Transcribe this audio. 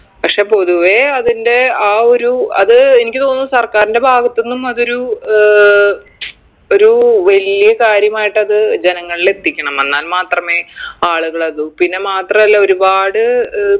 പക്ഷെ പൊതുവെ അതിൻറെ ആ ഒരു അത് എനിക്ക് തോന്നുന്നു സർക്കാരിൻറെ ഭാഗത്ത്ന്നും അതൊരു ഏർ ഒരു വലിയ കാര്യമായിട്ടത് ജനങ്ങളിൽ എത്തിക്കണം എന്നാൽ മാത്രമേ ആളുകൾ അത് പിന്നെ മാത്രല്ല ഒരുപാട് ഏർ